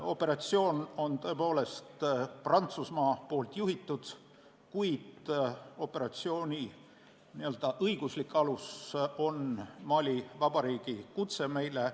Operatsiooni juhib tõepoolest Prantsusmaa, kuid selle õiguslik alus on Mali Vabariigi kutse meile.